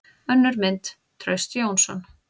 Önnur mynd: Trausti Jónsson.